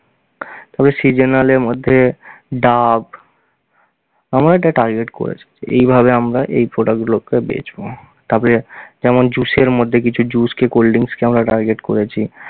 তারপরে seasonal এর মধ্যে ডাব, আমরা এটা target করেছি। এভাবে আমরা এই product গুলোকে বেঁচবো। তারপরে যেমন juice এর মধ্যে কিছু juice কে cold drinks কে আমরা target করেছি।